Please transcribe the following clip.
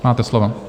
Máte slovo.